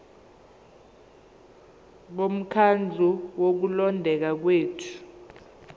bomkhandlu wokulondeka kwethu